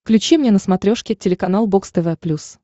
включи мне на смотрешке телеканал бокс тв плюс